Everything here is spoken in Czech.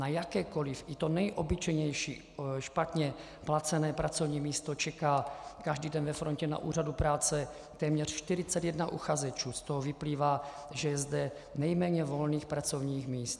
Na jakékoli, i to nejobyčejnější, špatně placené pracovní místo, čeká každý den ve frontě na úřadu práce téměř 41 uchazečů, z toho vyplývá, že je zde nejméně volných pracovních míst.